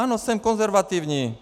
Ano, jsem konzervativní.